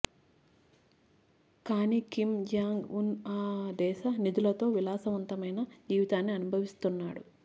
కానీ Kim Jong Un ఆ దేశ నిధులతో విలాసవంతమైన జీవితాన్ని అనుభవిస్తున్నాడు